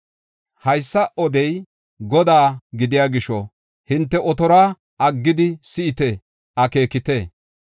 Haysa odey Godaa gidiya gisho hinte otoruwa aggidi si7ite; akeekite.